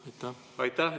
Aitäh!